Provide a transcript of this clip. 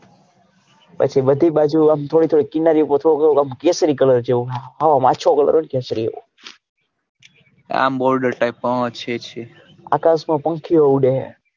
પછી બધી બાજુ આમ થોડું થોડું કિનારીઓ પર થોડો થોડો આમ કેસરી colour જેવું આમ આછો colour હોય ને કેસરી આમ border type માં છે છે આકાશ માં પંખીઓ ઊડે હે.